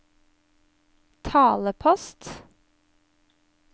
talepost